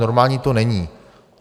Normální to není.